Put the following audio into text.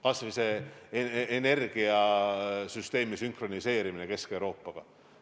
Kas või see energiasüsteemi sünkroniseerimine Kesk-Euroopa omaga.